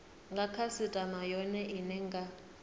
nga khasitama yone ine nga